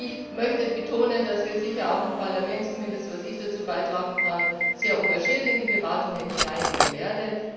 Ich möchte betonen, dass wir sicher auch im Parlament, zumindest was ich dazu beitragen kann, sehr engagiert in die Beratungen hineingehen werden.